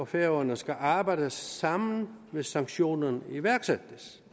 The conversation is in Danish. færøerne skal arbejde sammen hvis sanktionen iværksættes